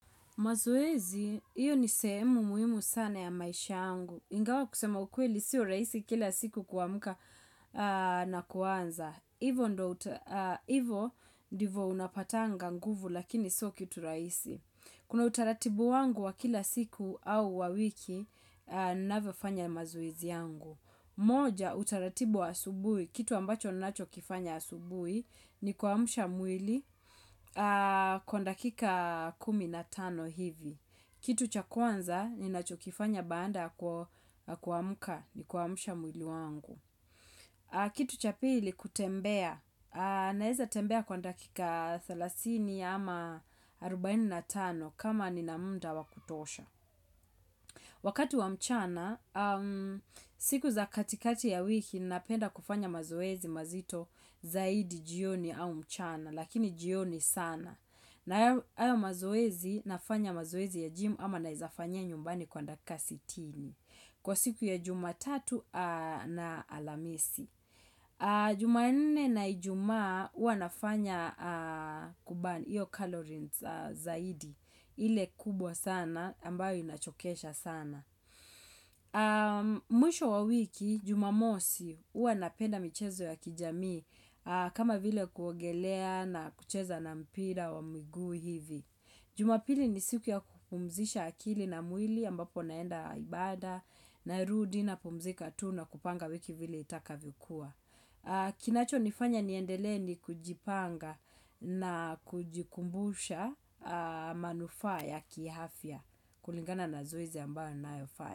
Mazoezi, iyo ni sehemu muhimu sana ya maisha yangu. Ingawa kusema ukweli siyo rahisi kila siku kuamka na kuanza. Hivo ndivo unapatanga nguvu lakini sio kitu rahisi. Kuna utaratibu wangu wa kila siku au wa wiki ninavyo fanya mazoezi yangu. Moja, utaratibu wa asubuhi, kitu ambacho ninachokifanya asubuhi ni kuamsha mwili kwa dakika kumi na tano hivi. Kitu cha kwanza ninachokifanya baada kuamka ni kuamsha mwili wangu. Kitu cha pili, kutembea. Naeza tembea kwa dakika thelathini ama 45 kama nina muda wa kutosha. Wakati wa mchana, siku za katikati ya wiki napenda kufanya mazoezi mazito zaidi jioni au mchana, lakini jioni sana. Na hayo mazoezi nafanya mazoezi ya jimu ama naizafanya nyumbani kwa dakika sitini. Kwa siku ya jumatatu na alamisi. Juma nne na ijumaa huwa nafanya kubani iyo kalorines zaidi ile kubwa sana ambayo inachokesha sana Mwisho wa wiki jumamosi huwa napenda michezo ya kijamii kama vile kuogelea na kucheza na mpira wa miguu hivi Juma pili ni siku ya kupumzisha akili na mwili ambapo naenda ibada na rudi na pumzika tu na kupanga wiki vile itakavyokuwa Kinacho nifanya niendele ni kujipanga na kujikumbusha manufaa ya kiafya kulingana na zoezi ambayo ninayofanya.